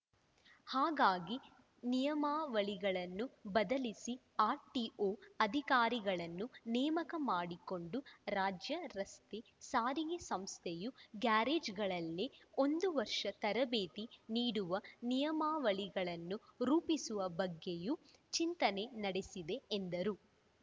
ಹಾಗಾಗಿ ನಿಯಮಾವಳಿಗಳನ್ನು ಬದಲಿಸಿ ಆರ್‌ಟಿಓ ಅಧಿಕಾರಿಗಳನ್ನು ನೇಮಕ ಮಾಡಿಕೊಂಡು ರಾಜ್ಯ ರಸ್ತೆ ಸಾರಿಗೆ ಸಂಸ್ಥೆಯ ಗ್ಯಾರೇಜ್‌ಗಳಲ್ಲೆ ಒಂದು ವರ್ಷ ತರಬೇತಿ ನೀಡುವ ನಿಯಮಾವಳಿಗಳನ್ನು ರೂಪಿಸುವ ಬಗ್ಗೆಯೂ ಚಿಂತನೆ ನಡೆಸಿದೆ ಎಂದರು